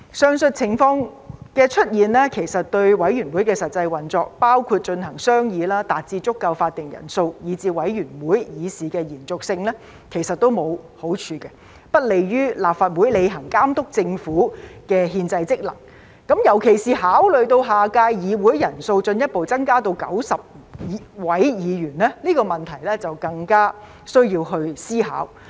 上述情況的出現其實對委員會的實際運作，包括進行商議、達致足夠法定人數、以至委員會議事的延續性也沒有好處，不利於立法會履行監督政府的憲制職能，尤其是考慮到下屆議會人數進一步增加至90位議員，這個問題更需要思考。